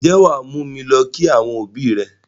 Ǹjẹ́ o máa mú mi lọ kí àwọn ẹbí rẹ?